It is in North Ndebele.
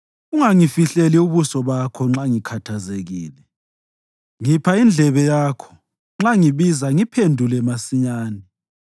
Ungangifihleli ubuso bakho nxa ngikhathazekile. Ngipha indlebe yakho; nxa ngibiza ngiphendula masinyane.